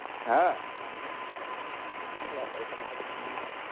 হ্যাঁ ওবাবা এখানে তো ভুলেই গেছি ঠান্ড~